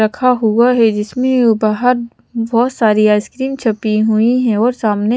रखा हुआ है जिसमे बहोत -बहोत सारी आइसक्रीम छुपी हुई हैऔर सामने --